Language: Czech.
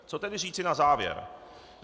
Co tedy říci na závěr?